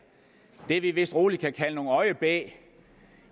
det vi vist roligt kan kalde en øjebæ